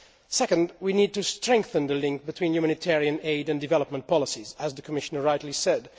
Second, we need to strengthen the link between humanitarian aid and development policies, as the Commissioner rightly said.